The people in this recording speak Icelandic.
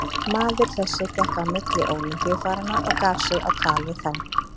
Maður þessi gekk á milli Ólympíufaranna og gaf sig á tal við þá.